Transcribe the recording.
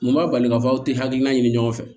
Mun b'a bali k'a fɔ aw tɛ hakilina ɲini ɲɔgɔn fɛ